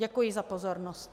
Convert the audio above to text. Děkuji za pozornost.